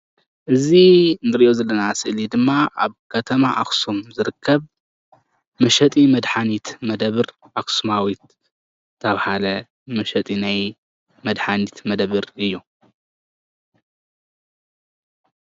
እዚ እንሪኦ ዘለና ስእሊ ድማ ኣብ ከተማ ኣክሱም ዝርከብ መሸጢ መድሓኒት መደበር ኣክሱማዊት ዝተባሃለ መሸጢ ናይ መድሓኒት መደበር እዩ፡፡